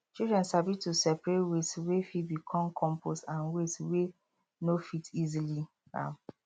children sabi to separate waste wey fit become compost and waste wey no fit easily um